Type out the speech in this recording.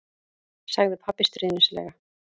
sagði pabbi stríðnislega.